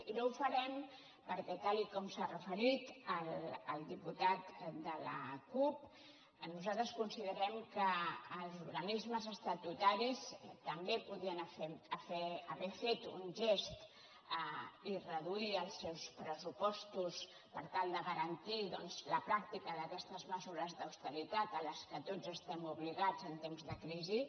i no ho farem perquè tal com s’hi ha referit el diputat de la cup nosaltres considerem que els organismes estatutaris també podien haver fet un gest i reduir els seus pressupostos per tal de garantir doncs la pràctica d’aquestes mesures d’austeritat a què tots estem obligats en temps de crisi